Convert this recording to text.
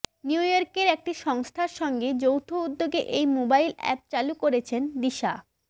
new ইয়র্কের একটি সংস্থার সঙ্গে যৌথ উদ্যোগে এই মোবাইল অ্যাপ চালু করেছেন দিশা